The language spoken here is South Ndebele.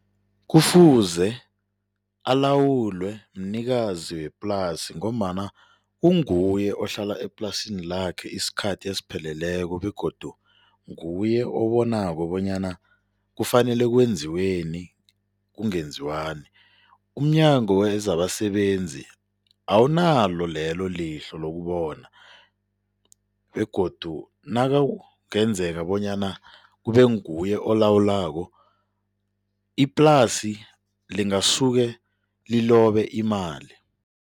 Kufuze alawulwe mnikazi weplasi ngombana kunguye ohlala eplasini lakhe isikhathi esipheleleko begodu nguye obonako bonyana kufanele kwenziweni, kungenziwani. umNyango wezabaSebenzi awunalo lelo lihlo lokubona begodu nakungenzeka bonyana kube nguye olawulako, iplasi lingasuke lilobe imali.